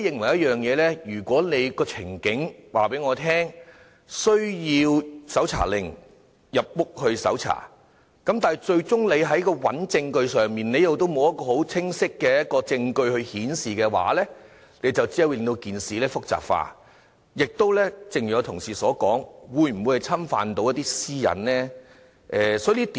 我認為，如果有關個案有需要以搜查令進入住宅搜查，但最終沒有清晰證據顯示有違法活動的話，只會令到事情複雜化，亦正如同事所說，可能會侵犯私隱。